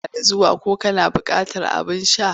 Barka da zuwa ko kana buƙatar abin sha?